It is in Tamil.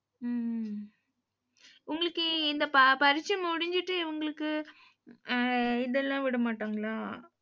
உம் உம் உங்களுக்கு இந்த பரீட்சை முடிஞ்சுட்டு, உங்களுக்கு ஆஹ் இதெல்லாம் விட மாட்டாங்களா?